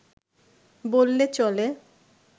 বললে চলে